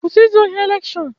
Kwụsị izu ohi elekshọn!